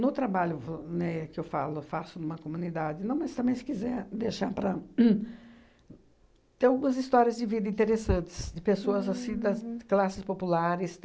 No trabalho vo né que eu falo eu faço em uma comunidade, não mas aí se quiser deixar para hum... Tem algumas histórias de vida interessantes, de pessoas assim das classes populares.